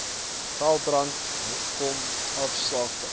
veldbrande kom hoofsaaklik